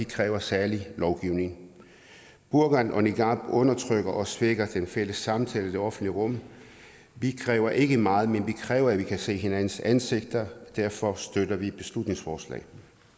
kræver særlig lovgivning burka og niqab undertrykker og svækker den fælles samtale i det offentlige rum vi kræver ikke meget men vi kræver at vi kan se hinandens ansigter derfor støtter vi beslutningsforslaget